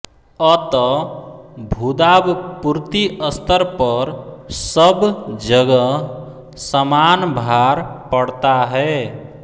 अत भूदाबपूर्ति स्तर पर सब जगह समान भार पड़ता है